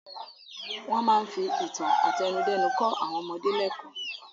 Wọ́n máa ń fi ìtàn àtẹnudẹ́nu kọ́ àwọn ọmọdé lẹ́kọ̀ọ́.